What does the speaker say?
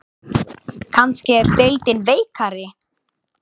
Kannski er deildin veikari?